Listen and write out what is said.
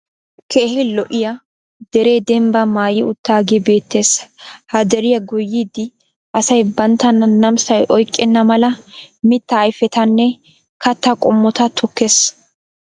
keehi lo'iya deree dembbaa maayi utaagee beetees. ha deriya goyyidi asay banttana namissay oyqqenna mala mitaa ayfettanne kataa qommota tokkees.